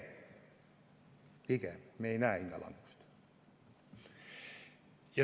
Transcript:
Pigem me ei näe hinnalangust.